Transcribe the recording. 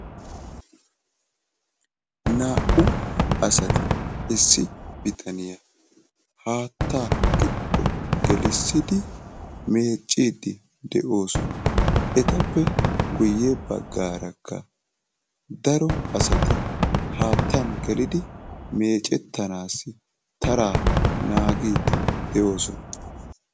Naa''u asati issi bitaniyaa haattaa giddo gelissidi meeccidi de'osona. Etappe guyye baggaarakka daro asati haattan gelidi meeccettanaassi taraa naagiidi de'osona.